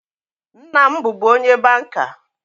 Nna m bụbu onye banka